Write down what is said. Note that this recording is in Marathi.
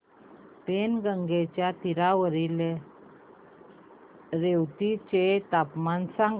पैनगंगेच्या तीरावरील येवती चे तापमान सांगा